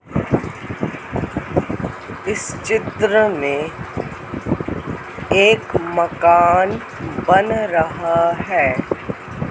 इस चित्र में एक मकान बन रहा है।